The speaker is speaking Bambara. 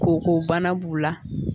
Kokobana b'u la.